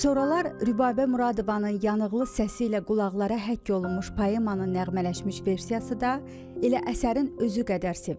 Soralar Rübabə Muradovanın yanıqlı səsi ilə qulaqlara həkk olunmuş poemanın nəğmələşmiş versiyası da elə əsərin özü qədər sevilir.